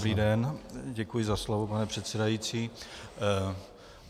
Dobrý den, děkuji za slovo, pane předsedající.